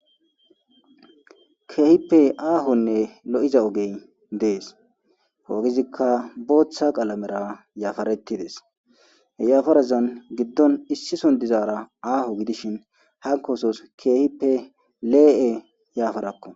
keehippe aahonne lo7iza ogey dees he ogizikka booththa qalamera yaafarettides he yaafarazan giddon issi son dizaara aaho gidishin hanko osos keehippe lee7e yaafarakko